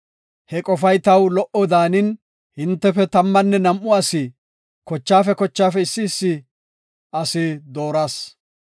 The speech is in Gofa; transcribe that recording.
He qofay taw lo77o daanin, hintefe tammanne nam7u asi, kochaafe kochaafe issi asi dooras.